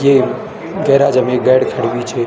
ये गैराज म एक गाड़ी खड़ी हुई च।